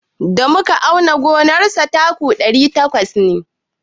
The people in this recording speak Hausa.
Da muka auna gonar sa taku ɗari takwas ne.